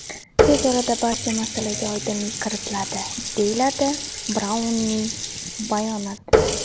Tez orada barcha masalaga oydinlik kiritiladi”, deyiladi Braunning bayonotida.